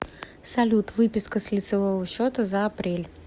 салют выписка с лицевого счета за апрель